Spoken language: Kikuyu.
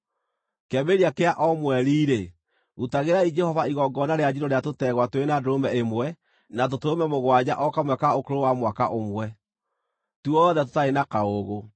“ ‘Kĩambĩrĩria kĩa o mweri-rĩ, rutagĩrai Jehova igongona rĩa njino rĩa tũtegwa twĩrĩ na ndũrũme ĩmwe na tũtũrũme mũgwanja o kamwe ka ũkũrũ wa mwaka ũmwe, tuothe tũtarĩ na kaũũgũ.